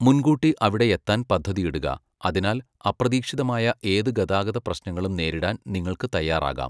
മുൻകൂട്ടി അവിടെ എത്താൻ പദ്ധതിയിടുക, അതിനാൽ അപ്രതീക്ഷിതമായ ഏത് ഗതാഗത പ്രശ്നങ്ങളും നേരിടാൻ നിങ്ങൾക്ക് തയ്യാറാകാം.